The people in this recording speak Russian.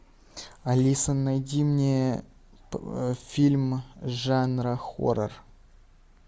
алиса найди мне фильм жанра хоррор